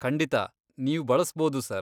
ಖಂಡಿತ ನೀವ್ ಬಳಸ್ಬೋದು ಸರ್.